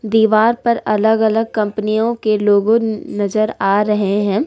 दीवार पर अलग अलग कंपनियों के लोगो नजर आ रहे हैं।